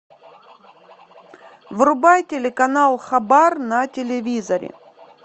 врубай телеканал хабар на телевизоре